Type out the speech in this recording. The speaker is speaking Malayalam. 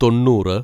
തൊണ്ണൂറ്